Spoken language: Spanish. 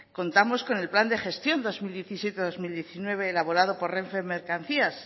contamos con el plan de gestión dos mil diecisiete dos mil diecinueve elaborado por renfe mercancías